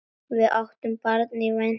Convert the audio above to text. Við áttum barn í vændum.